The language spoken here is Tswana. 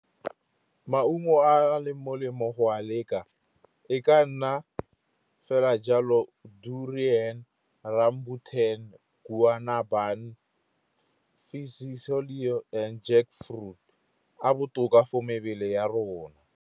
Maungo a leng molemo go a leka e ka nna fela ja lo ,,,, and jackfruit, a botoka for mebele ya rona.